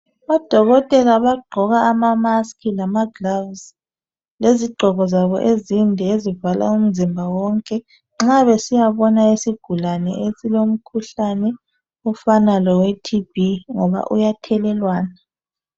Odokotela abagqoka ama masiki lama gilovisi, lezigqoko zabo ezinde ezivala umzimba wonke nxa besiyabona isigulane esilomkhuhlane ofana lowe TB ngoba uyathelelwana.